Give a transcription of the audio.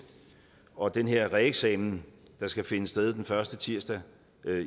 og den her reeksamen der skal finde sted den første tirsdag